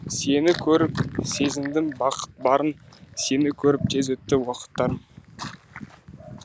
сені көріп сезіндім бақыт барын сені көріп тез өтті уақыттарым